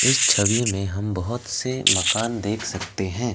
इस छवि में हम बहुत से मकान देख सकते है।